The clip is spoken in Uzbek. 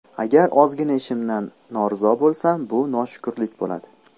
Agar ozgina ishimdan norizo bo‘lsam bu noshukurlik bo‘ladi.